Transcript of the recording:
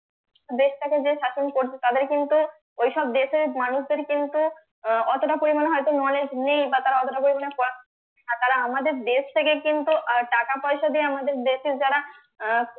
দেশটাকে যে শাসন করছে তাদের কিন্তু ঐসব দেশের মানুষদের কিন্তু আহ অতটা পরিমাণে হয়তো knowledge নেই বা তারা অতটা পরিমাণে পড়ার আর তারা আমাদের দেশ থেকে কিন্তু আহ টাকা পয়সা দিয়ে আমাদের দেশের যারা আহ